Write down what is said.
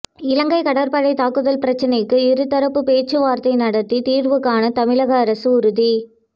இலங்கை கடற்படை தாக்குதல் பிரச்னைக்கு இருதரப்பு பேச்சுவார்த்தை நடத்தி தீர்வு காண தமிழக அரசு உறுதி